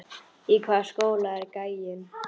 Í hvaða skóla er gæinn?